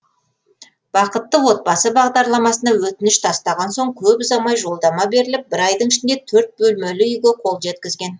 бақытты отбасы бағдарламасына өтініш тастаған соң көп ұзамай жолдама беріліп бір айдың ішінде төрт бөлмелі үйге қол жеткізген